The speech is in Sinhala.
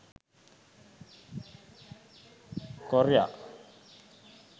korya